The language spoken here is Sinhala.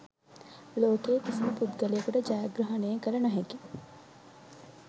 ලෝකයේ කිසිම පුද්ගලයකුට ජයග්‍රහණය කළ නොහැකි